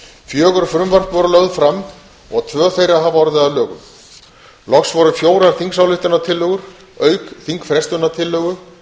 fjögur frumvörp voru lögð fram og tvö þeirra hafa orðið að lögum loks voru fjórar þingsályktunartillögur auk þingfrestunartillögu